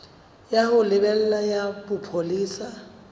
ya ho lebela ya bopolesa